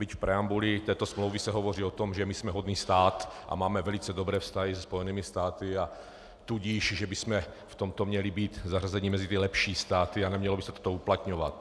Byť v preambuli této smlouvy se hovoří o tom, že my jsme hodný stát a máme velice dobré vztahy se Spojenými státy, a tudíž že bychom v tomto měli být zařazeni mezi ty lepší státy a nemělo by se to uplatňovat.